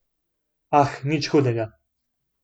Ah, nič hudega.